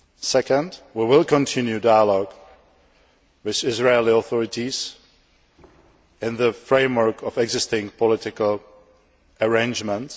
Secondly, we will continue dialogue with the Israeli authorities within the framework of existing political arrangements.